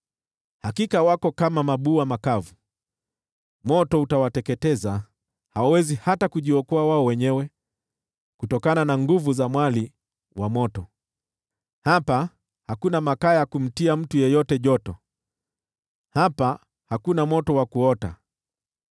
Hakika wako kama mabua makavu; moto utawateketeza. Hawawezi hata kujiokoa wao wenyewe kutokana na nguvu za mwali wa moto. Hapa hakuna makaa ya kumtia mtu yeyote joto; hapa hakuna moto wa kuota.